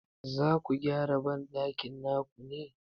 Zaku gyara banɗakin naku ne?